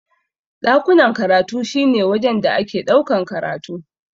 Ɗakunan karatu shi ne wajen da ake ɗaukan karatu.